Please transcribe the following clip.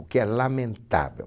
O que é lamentável.